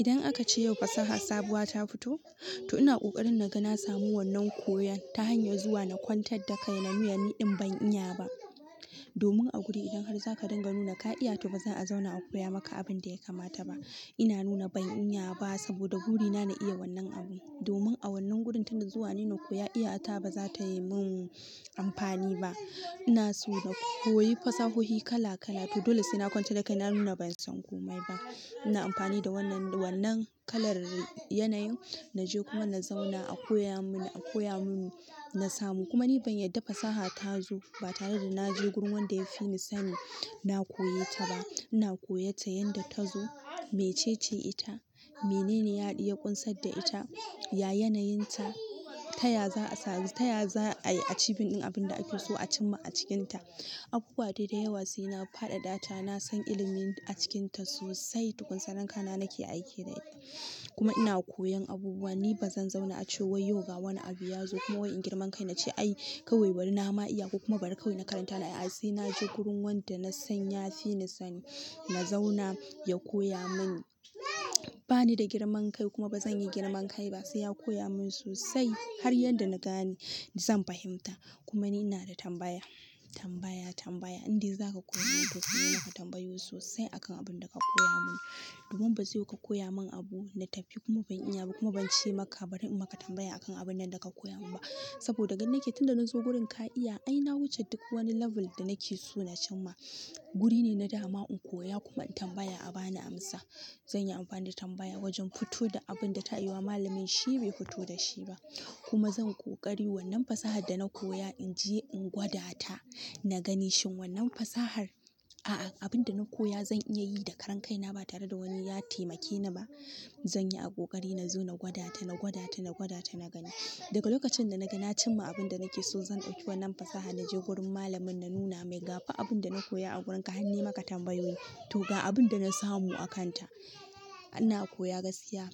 Idan aka ce yau fasaha sabuwa ta fito, to ina ƙoƙarin naga na samu wannan koyon ta hanyar zuwa na kwantar da kai na miya ni din ban iya ba. Domin a guri idan har za ka dinga nuna ka iya to ba zan a zauna a koya maka abin da ya kamata ba. Ina nuna ban iya ba saboda burina na iya wannan abu. Domin a wannan gurin tun da zuwa nai na koyo iya ta ba za ta yi mun amfani ba. Ina so na koyi fasahohi kala kala to dole sai na kwancar da kai na nuna ban san komai ba. Ina amfani da wannan kalar yanayin naje kuma na zauna a koya mini, a koya mun na samu kuma ni ban yarda fasaha ta zo ba tare da na je gurin wanda ya fi ni sani na koye ta ba. Ina koyarta yanda ta zo, mece ce ita, menene ya haɗu ya ƙunsar da ita, ya yanayinta, taya za a samu, taya za ai achieving abin da ake so a cimma a cikinta. Abubuwa dai da yawa sai na fadadata na son ilimi a cikinta sosai tukun sannan kana nake aiki da ita kuma ina koyan abubuwa, ni ba zan zauna a ce wai yau ga wani abu ya zo kuma wai in girman kai na ce "ai kawai bari na ma iya ko kuma bari kawai na karanta" a'a sai naje gurin wanda na san ya fi ni sani na zauna ya koya mun. Bani da girman kai kuma bazan yi girman kai ba, sai ya koya mun sosai har yanda na gane zan fahimta kuma ni ina da tambaya, tambaya, tambaya indai za ka koya mun to sai na maka tambayoyi sosai akan abin da ka koya mun. Domin ba zai yiwu ka koya mun abu na tafi kuma ban iya ba kuma ban ce maka, bari in maka tambaya akan abun nan da ka koya mun ba. Saboda gani nake tun da na zo wurin ka iya ai na wuce duk wani level da nake so na cimma. Wuri ne na dama in koya kuma in tambaya a ba ni amsa. Zan yi amfani da tambaya wajen fito da abinda ta yiwa malamin shi bai fito da shi ba kuma zan ƙoƙari wannan fasahar da na koya in je in gwada ta, na gani shin wannan fasahar, a'a abin da na koya zan iya yi da karan kai na ba tare da wani ya taimake ni ba. Zan yi a ƙoƙari na zo na gwada ta, na gwada ta, na gwada ta na gani. Daga lokacin da naga na cimma abin da nake so zan ɗauki wannan fasaha naje gurin malamin na nuna mai ga fa abin da na koya a wurin ka har ne maka tambayoyi. To ga abin da na samu a kanta. Ana koya gaskiya